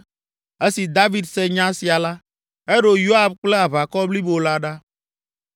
Esi David se nya sia la, eɖo Yoab kple aʋakɔ blibo la ɖa.